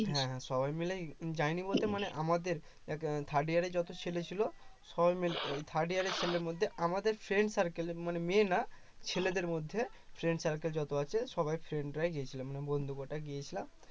হ্যাঁ হ্যাঁ সবাই মিলে যাইনি বলতে মানে আমাদের third year এ যত ছেলে ছিল সবাই মিলে third year এর ছেলে মধ্যে আমাদের friend circle এর মানে মেয়ে না ছেলেদের মধ্যে friend circle যত আছে সবাই friend রাই গিয়েছিলাম মানে বন্ধু কটা গিয়েছিলাম